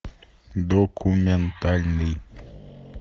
документальный